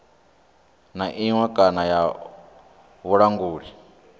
na iṅwe kana ya vhulanguli